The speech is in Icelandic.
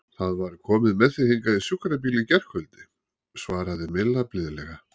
Það var komið með þig hingað í sjúkrabíl í gærkvöldi svaraði Milla blíðlega.